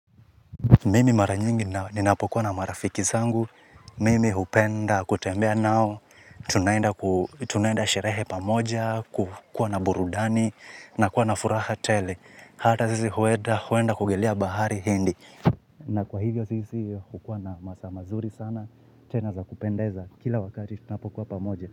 Mimi mara nyingi ninapokuwa na marafiki zangu. Mimi hupenda kutembea nao. Tunaenda sherehe pamoja, kukuwa na burudani, na kuwa na furaha tele. Hata sisi huenda kugelea bahari hindi. Na kwa hivyo sisi hukuwa na masaa mazuri sana. Tena za kupendeza. Kila wakati tunapokuwa pamoja.